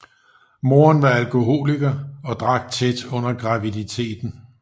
Moderen var alkoholiker og drak tæt under graviditeten